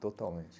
Totalmente.